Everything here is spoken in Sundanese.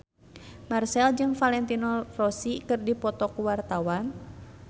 Marchell jeung Valentino Rossi keur dipoto ku wartawan